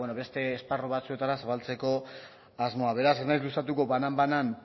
beste esparru batzuetara zabaltzeko asmoa beraz ez naiz luzatuko banan banan